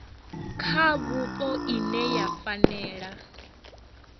kha vhupo ine ya fanela